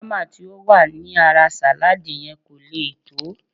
Bama ti ó wà ní ara salad yen ko leè to